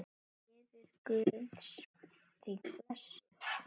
Friður Guðs þig blessi.